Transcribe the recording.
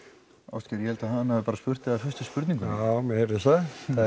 ástgeir ég held hann hafi bara spurt þig að fyrstu spurningunni já mér heyrðist það